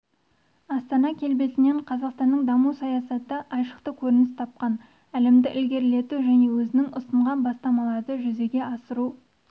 астана келбетінен қазақстанның даму саясаты айшықты көрініс тапқан әлемді ілгерілету және өзіңіз ұсынған бастамаларды жүзеге асыру